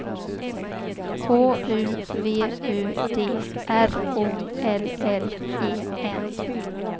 H U V U D R O L L E N